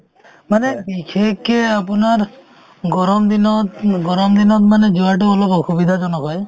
মানে বিশেষকে আপোনাৰ গৰম দিনত উম গৰম দিনত মানে যোৱাতো অলপ অসুবিধাজনক হয়